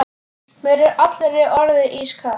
Mér er allri orðið ískalt.